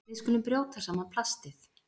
Við skulum brjóta saman plastið.